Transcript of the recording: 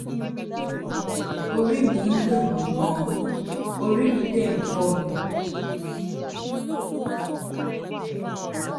lónìí orí mi ń dunmi gan-an ori de um n um fo mi